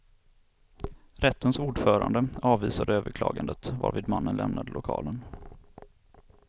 Rättens ordförande avvisade överklagandet, varvid mannen lämnade lokalen.